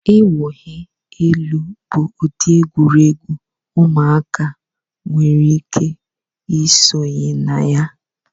Iwunyi elu bụ ụdị egwuregwu ụmụaka nwere ike isonye na ya.